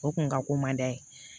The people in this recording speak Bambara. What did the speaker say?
O kun ka ko man di a ye